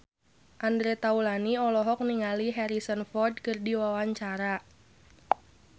Andre Taulany olohok ningali Harrison Ford keur diwawancara